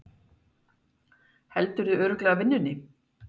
Heldurðu örugglega vinnunni?